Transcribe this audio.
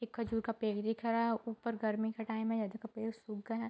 एक खजूर का पेड़ दिख रहा है ऊपर गर्मी का टाइम है ये देखो पेड़ सुख गए हैं।